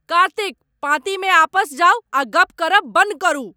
कार्तिक! पाँती मे आपस जाउ आ गप्प करब बन्न करू।